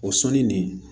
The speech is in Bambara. O sɔnni nin